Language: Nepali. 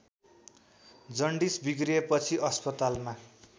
जन्डिस बिग्रिएपछि अस्पतालमा